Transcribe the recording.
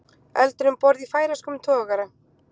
Eldur um borð í færeyskum togara